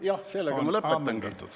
Jah, sellega ma lõpetangi.